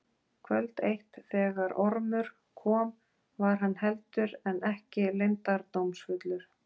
Kvöld eitt þegar Ormur kom var hann heldur en ekki leyndardómsfullur.